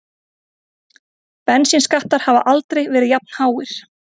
Bensínskattar hafa aldrei verið jafnháir